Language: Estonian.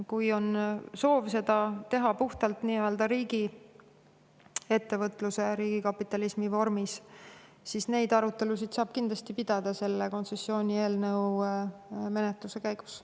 Kui on soov seda teha puhtalt riigiettevõtluse, riigikapitalismi vormis, siis neid arutelusid saab kindlasti pidada selle kontsessioonieelnõu menetluse käigus.